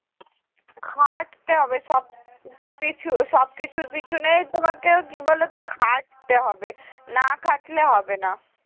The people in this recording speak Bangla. খাটতে হবে সব কি কিছু সব কিছুর পিছনেই তোমাকেও কি বলতো খাটতে হবে না খাটলে হবে না